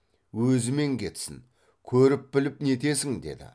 өзімен кетсін көріп біліп нетесің деді